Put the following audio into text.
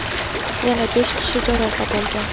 Yana besh kishi jarohat olgan.